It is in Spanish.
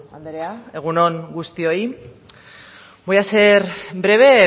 andrea egun on guztioi voy a ser breve